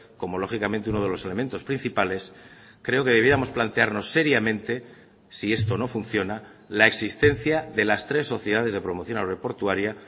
como lógicamente uno de los elementos principales creo que debiéramos plantearnos seriamente si esto no funciona la existencia de las tres sociedades de promoción aeroportuaria